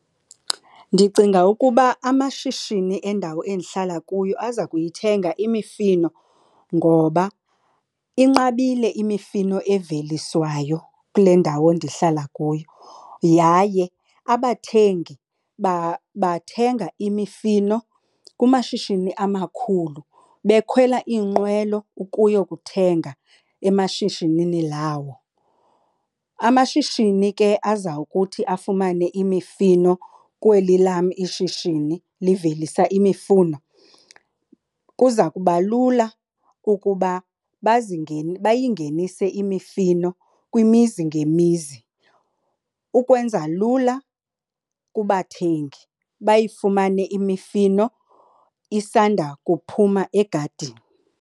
Ndicinga ukuba amashishini endawo endihlala kuyo aza kuyithenga imifino ngoba inqabile imifino eveliswayo kule ndawo ndihlala kuyo. Yaye abathengi bathenga imifino kumashishini amakhulu, bekhwela iinqwelo ukuyokuthenga emashishini lawo. Amashishini ke aza kuthi afumane imifino kweli lam ishishini livelisa imifuno kuza kuba lula ukuba bayingenise imifino kwimizi ngemizi ukwenza lula kubathengi bayifumane imifino isandawukuphuma egadini.